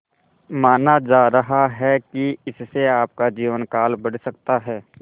माना जा रहा है कि इससे आपका जीवनकाल बढ़ सकता है